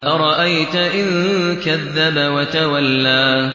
أَرَأَيْتَ إِن كَذَّبَ وَتَوَلَّىٰ